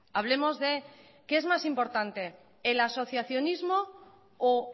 hablemos de qué es más importante el asociacionismo o